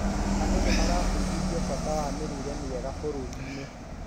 Andũ nĩmarabudithio bata wa mũrĩre mwega bũrurĩini